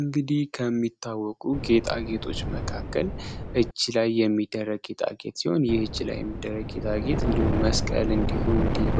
እንግዲህ ከሚታወቁ ጌታጌጦች መካከል እጅ ላይ የሚደረግ ይችላል። እንዲሁም መስቀል እንዲሁም ዲቫ